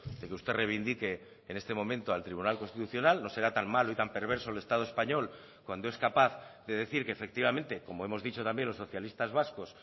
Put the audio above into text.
de que usted reivindique en este momento al tribunal constitucional no será tan malo y tan perverso el estado español cuando es capaz de decir que efectivamente como hemos dicho también los socialistas vascos